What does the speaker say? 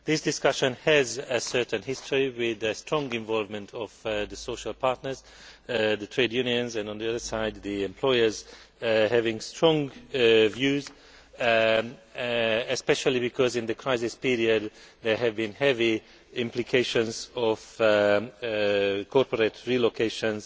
This discussion has a certain history, with strong involvement by the social partners the trade unions and, on the other side, the employers having strong views especially because in the crisis period there have been heavy implications as a result of corporate relocations